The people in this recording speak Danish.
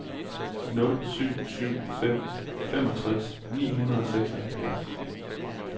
nul syv syv fem femogtres ni hundrede og syvoghalvfjerds